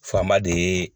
Fanba de ye